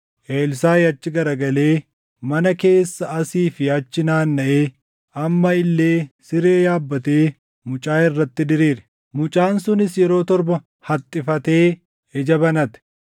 Elsaaʼi achi garagalee mana keessa asii fi achi nanaannaʼee amma illee siree yaabbatee mucaa irratti diriire. Mucaan sunis yeroo torba haxxifatee ija banate.